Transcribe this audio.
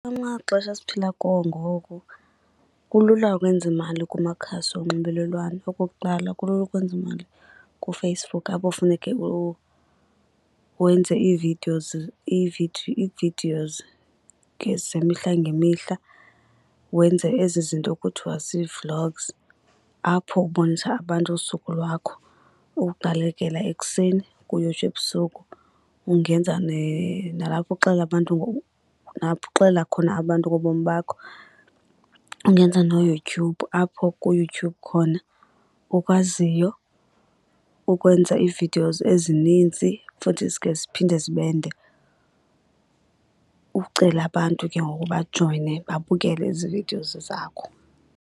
Amaxesha esiphila kuwo ngoku kulula ukwenza imali kumakhasi onxibelelwano. Okokuqala kulula ukwenza imali kuFacebook apho funeke wenze ii-videos ii-videos zemihla ngemihla. Wenze ezi zinto kuthwa zii-vlogs apho ubonisa abantu usuku lwakho uqalekela ekuseni kuyotsho ebusuku. Ungenza nalapho uxelela abantu nalapho uxelela khona abantu ngobomi bakho. Ungenza noYouTube apho kuYouTube khona ukwaziyo ukwenza ii-videos ezininzi futhi zikhe ziphinde zibe nde. Ucele abantu ke ngoku bajoyine babukele ezi videos zakho.